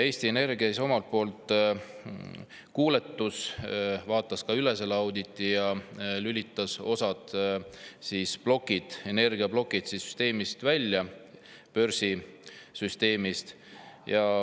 Eesti Energia omalt poolt kuuletus, vaatas ka selle auditi üle ja lülitas osa energiaplokke börsisüsteemist välja.